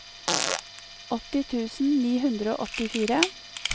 åtti tusen ni hundre og åttifire